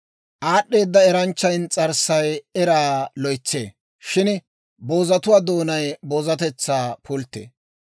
Aad'd'eeda eranchchaa ins's'arssay eraa loytsee; shin boozatuwaa doonay boozatetsaa pulttee.